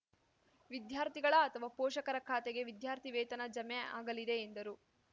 ವಿದ್ಯಾರ್ಥಿಗಳ ಅಥವಾ ಪೋಷಕರ ಖಾತೆಗೆ ವಿದ್ಯಾರ್ಥಿವೇತನ ಜಮೆ ಆಗಲಿದೆ ಎಂದರು